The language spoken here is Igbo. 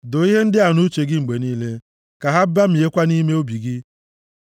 Doo ihe ndị a nʼuche gị mgbe niile; ka ha bamiekwa nʼime obi gị,